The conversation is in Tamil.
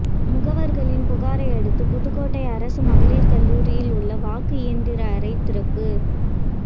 முகவர்களின் புகாரையடுத்து புதுக்கோட்டை அரசு மகளிர் கல்லூரியில் உள்ள வாக்கு இயந்திர அறை திறப்பு